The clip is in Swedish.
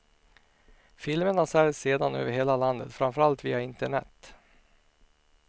Filmerna säljs sedan över hela landet, framför allt via internet.